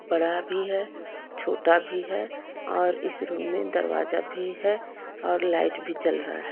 बड़ा भी है छोटा भी है और इस रूम में दरवाजा भी है और लाइट भी चल रहा है।